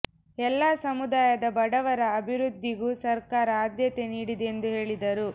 ಎಲ್ಲ ಸಮುದಾಯದ ಬಡವರ ಅಭಿವೃದ್ಧಿಗೂ ಸರ್ಕಾರ ಆದ್ಯತೆ ನೀಡಿದೆ ಎಂದು ಹೇಳಿದರು